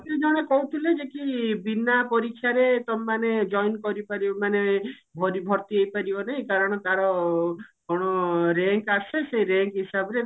ଜଣେ କହୁଥିଲେ ଯେ କି ବିନା ପରୀକ୍ଷାରେ ତମେ ମାନେ join କରିପାରିବ ମାନେ ଭରି ଭର୍ତି ହେଇପାରିବନି କାରଣ ତାର କଣ rank ଆସେ ସେଇ rank ହିସାବରେ